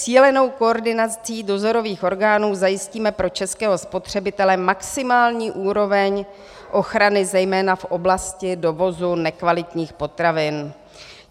"Cílenou koordinací dozorových orgánů zajistíme pro českého spotřebitele maximální úroveň ochrany zejména v oblasti dovozu nekvalitních potravin."